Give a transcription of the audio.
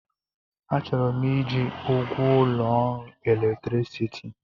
Achọrọ m iji ụgwọ ụlọ ọrụ electicity